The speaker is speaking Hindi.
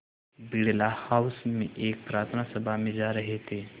बिड़ला हाउस में एक प्रार्थना सभा में जा रहे थे